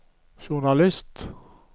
journalist